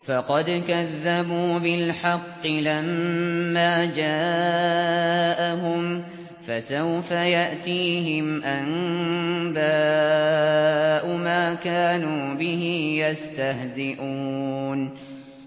فَقَدْ كَذَّبُوا بِالْحَقِّ لَمَّا جَاءَهُمْ ۖ فَسَوْفَ يَأْتِيهِمْ أَنبَاءُ مَا كَانُوا بِهِ يَسْتَهْزِئُونَ